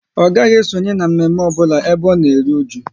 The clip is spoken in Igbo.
Ọ gaghị esonye na mme mme ọbụla ebe ọ na eru ụju